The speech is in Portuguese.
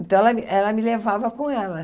Então, ela ela me levava com ela.